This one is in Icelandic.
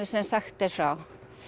sem sagt er frá